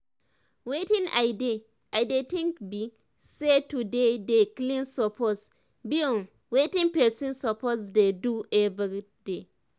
wetin i dey i dey think bi say to dey dey clean suppose bi um wetin pesin suppose dey do everyday